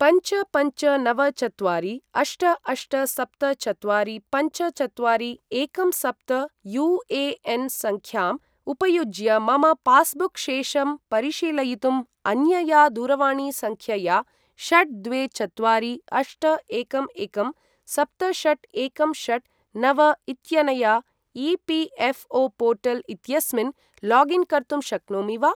पञ्च पञ्च नव चत्वारि अष्ट अष्ट सप्त चत्वारि पञ्च चत्वारि एकं सप्त यू.ए.एन्. सङ्ख्याम् उपयुज्य मम पास्बुक् शेषं परिशीलयितुं अन्यया दूरवाणीसङ्ख्यया, षट् द्वे चत्वारि अष्ट एकं एकं सप्त षट् एकं षट् नव इत्यनया ई.पी.एफ़्.ओ.पोर्टल् इत्यस्मिन् लागिन् कर्तुं शक्नोमि वा?